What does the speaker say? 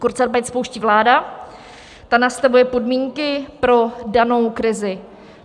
Kurzarbeit spouští vláda, ta nastavuje podmínky pro danou krizi.